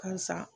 K'a san